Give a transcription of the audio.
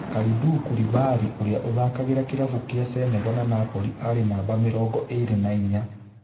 Kalidou Koulibaly ũria ũthakagira kĩravũkĩa Senegal na Napoli arĩ namba mĩrongo ĩĩrĩ na inya.